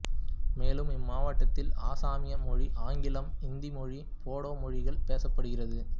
மேலும் இம்மாவட்டத்தில் அசாமிய மொழி ஆங்கிலம் இந்தி மொழி போடோ மொழிகள் பேசப்படுகிறது